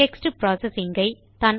text processing I